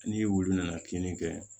Ni wulu nana kinni kɛ